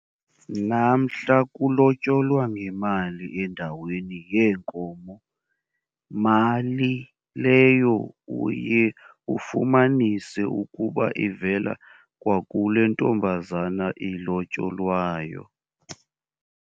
Namhla kulotyolwa ngemali endaweni yeenkomo, mali leyo uye ufumanise ukuba ivela kwakule ntombazana ilotyolwayo.